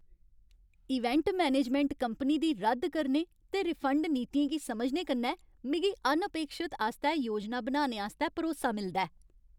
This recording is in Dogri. इवेंट मैनेजमेंट कंपनी दी रद्द करने ते रिफंड नीतियें गी समझने कन्नै मिगी अनअपेक्षत आस्तै योजना बनाने आस्तै भरोसा मिलदा ऐ।